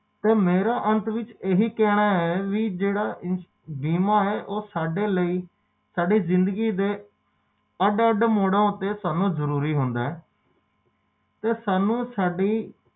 ਓਹਦੇ ਬਾਅਦ ਜਦੋ ਓਹਦੇ